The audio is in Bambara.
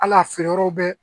Al'a feere yɔrɔ bɛ